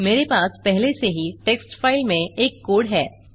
मेरे पास पहले से ही टेक्स्ट फ़ाइल में एक कोड है